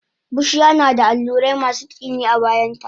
Bushiya nada allurai masu tsini a bayanta